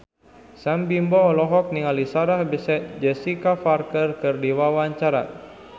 Sam Bimbo olohok ningali Sarah Jessica Parker keur diwawancara